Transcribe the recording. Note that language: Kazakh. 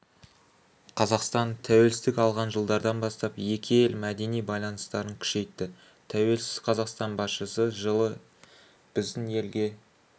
қазақстан тәуелсіздік алған жылдардан бастап екі ел мәдени байланыстарын күшейтті тәуелсіз қазақстан басшысы жылы біздің елге